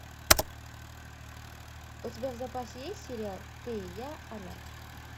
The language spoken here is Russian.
у тебя в запасе есть сериал ты и я она